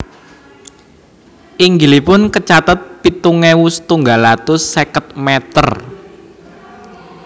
Inggilipun kacatet pitung ewu setunggal atus seket meter